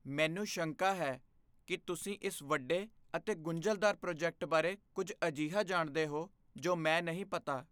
ਮੈਨੂੰ ਸ਼ੰਕਾ ਹੈ ਕਿ ਤੁਸੀਂ ਇਸ ਵੱਡੇ ਅਤੇ ਗੁੰਝਲਦਾਰ ਪ੍ਰੋਜੈਕਟ ਬਾਰੇ ਕੁੱਝ ਅਜਿਹਾ ਜਾਣਦੇ ਹੋ ਜੋ ਮੈਂ ਨਹੀਂ ਪਤਾ।